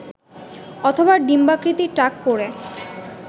অথবা ডিম্বাকৃতির টাক পড়ে